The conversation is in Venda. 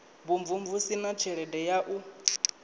vhumvumvusi na tshelede ya u